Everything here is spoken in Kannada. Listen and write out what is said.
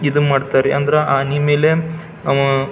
ಇದನ್ನ ಮಾಡತ್ತರ್ ಅಂದ್ರೆ ಆನಿ ಮೇಲೆ ಅವ.